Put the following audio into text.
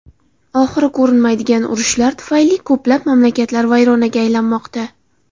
Oxiri ko‘rinmaydigan urushlar tufayli ko‘plab mamlakatlar vayronaga aylanmoqda.